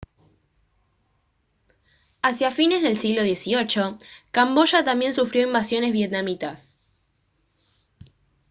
hacia fines del siglo xviii camboya también sufrió invasiones vietnamitas